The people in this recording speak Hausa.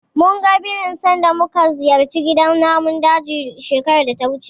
Munga birin sanda muka ziyarci gidan namun daji shekarar data wuce.